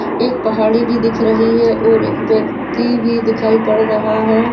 एक पहाड़ी भी दिख रही है और एक व्यक्ति भी दिखाई पड़ रहा है।